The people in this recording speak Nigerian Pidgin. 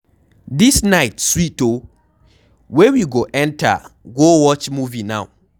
Dis night sweet oo, where we go enter go watch movie now?